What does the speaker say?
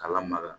K'a lamaga